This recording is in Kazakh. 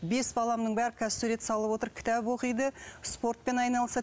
бес баламның бәрі қазір сурет салып отыр кітап оқиды спортпен айналысады